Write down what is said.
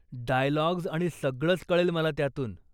Dialogues आणि सगळंच कळेल मला त्यातून.